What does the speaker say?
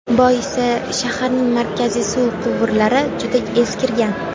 Boisi, shaharning markaziy suv quvurlari juda eskirgan.